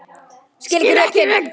Skil ekki rökin.